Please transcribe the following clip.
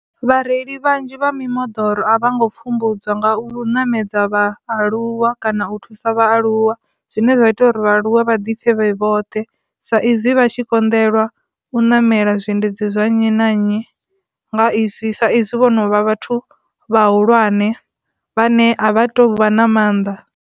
Vhareili vhanzhi vha mimoḓoro a vha ngo pfhumbudzwa nga u ṋamedza vhaaluwa kana u thusa vhaaluwa zwine zwa ita uri vhaaluwe vha ḓiphe vhoṱhe sa izwi vha tshi konḓelwa u ṋamela zwiendedzi zwa nnyi na nnyi nga izwi, sa izwi vho no vha vhathu vha hulwane vhane a vha tu vha na mannḓa.